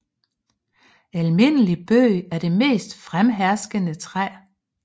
Almindelig Bøg er det mest fremherskende træ